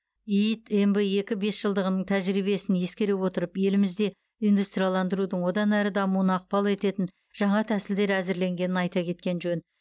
иид мб екі бесжылдығының тәжірибесін ескере отырып елімізде индустрияландырудың одан әрі дамуына ықпал ететін жаңа тәсілдер әзірленгенін айта кеткен жөн